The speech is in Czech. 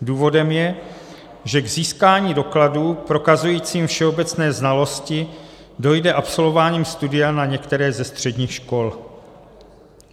Důvodem je, že k získání dokladu prokazujícího všeobecné znalosti dojde absolvováním studia na některé ze středních škol.